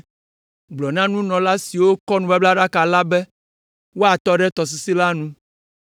Gblɔ na nunɔla siwo kɔ nubablaɖaka la be woatɔ ɖe tɔsisi la nu.”